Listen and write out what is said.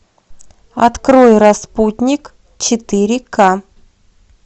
открой распутник четыре к